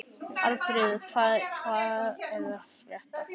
Hallfríður, hvað er að frétta?